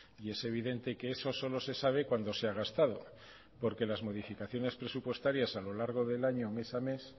y es evidente que eso solo se sabe cuando se ha gastado porque las modificaciones presupuestarias a lo largo del año mes a mes